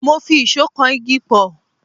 Mo fi ìṣó kan igi pọ̀.